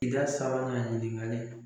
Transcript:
I ka sabanan ɲininkali